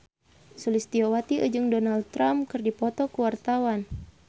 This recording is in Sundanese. Sulistyowati jeung Donald Trump keur dipoto ku wartawan